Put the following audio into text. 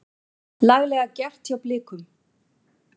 Laglega gert hjá Blikum.